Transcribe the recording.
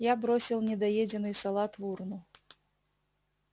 я бросил недоеденный салат в урну